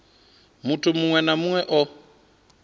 muthu muṅwe na muṅwe o